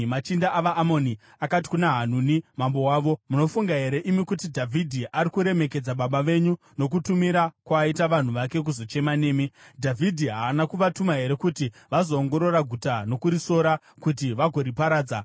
machinda avaAmoni akati kuna Hanuni mambo wavo, “Munofunga here imi kuti Dhavhidhi ari kuremekedza baba venyu nokutumira kwaaita vanhu vake kuzochema nemi? Dhavhidhi haana kuvatuma here kuti vazoongorora guta nokurisora kuti vagoriparadza?”